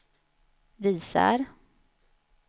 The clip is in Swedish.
visar